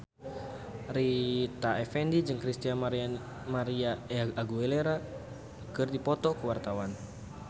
Rita Effendy jeung Christina María Aguilera keur dipoto ku wartawan